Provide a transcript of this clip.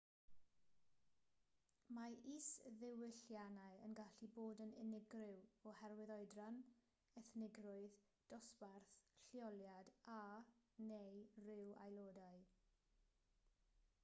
mae isddiwylliannau yn gallu bod yn unigryw oherwydd oedran ethnigrwydd dosbarth lleoliad a/neu ryw'r aelodau